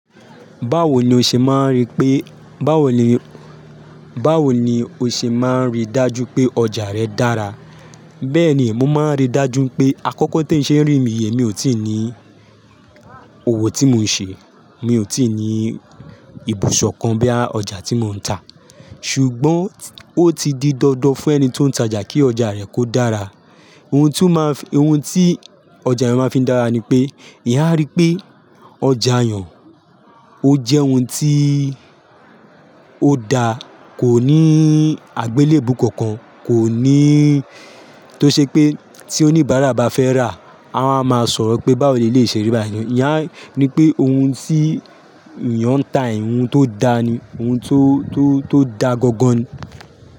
Báwo ni o ṣe máa rí pé, báwo ni, báwo ni o ṣe máa rí dájú pé ọjà rẹ dára? Bẹ́ẹ̀ni, mo máa ń rí dájú pé àkọ́kọ́ tí ń ṣe ń rìn míye mi ò tí ì ní òwò tí mò ń ṣe, mi ò tí ì ní ibùsọ̀ kan bíi ọjà tí mò ń tà. Ṣùgbọ́n ó ti di dandan fún ẹni tó ń tajà kí ọjà rẹ̀ kó dára. Ohun tí ó máa ń fi, ohun tí ọjà ẹni máa ń fi dára ni pé, ìyá rí pé ọjà èèyàn ó jẹ́ ohun tí ó da, kò ní àgbélébùú kankan, kò ní tó ṣe pé tí oníbàárà bá fẹ́ rà, a wa máa máa sọ̀rọ̀ pé báwo ni le ṣe rí báyìí. Ìyá ní pé ohun tí èèyàn ń tà, ohun tó da ni, ohun tó, tó, tó da gangan ni.